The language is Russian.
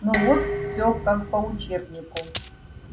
ну вот все как по учебнику